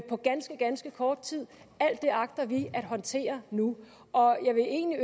på ganske ganske kort tid alt det agter vi at håndtere nu jeg vil egentlig